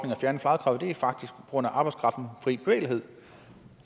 og fjerne fradraget er faktisk arbejdskraftens frie bevægelighed